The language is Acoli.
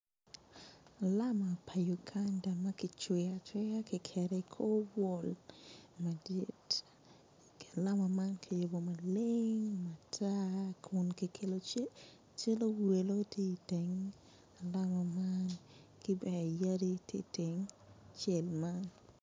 Alama pa Uganda ma kicweyo acweya kiketo i kor wall madit alama man kiyubo maleng ata kun kiketo cal owelo tye iteng alama man ki bene yadi tye itenge.